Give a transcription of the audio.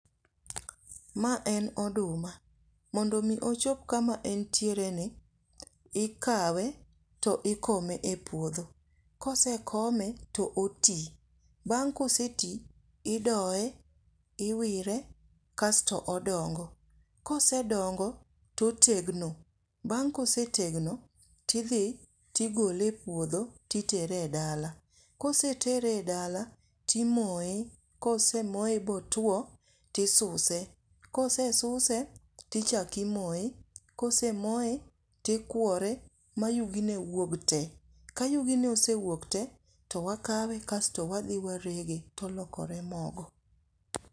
Ma en oduma, mondo omi ochop kama entiereni. Ikawe to ikome e puodho. kosekome to oti. Bang' koseti, idoye, iwire kasto odongo. kosedongo to otegno. bang' kosetegno, tidhi tigole e puodho titere e dala. Kosetere e dala timoye. kosemoye botuwo tisuse, kosesuse, tichako imoye. Kosemoye, tikwore ma yugine wuog te. Ka yugine osewuok te, to wakawe kasto wadhi warege tolokore mogo.